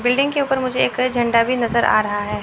Building के ऊपर मुझे एक झंडा भी नजर आ रहा है।